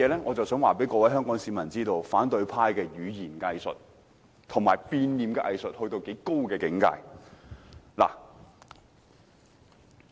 我想告訴香港市民，反對派的語言"偽術"和變臉的藝術達至多高的境界。